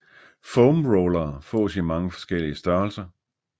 Foam rollere fås i mange forskellige størrelser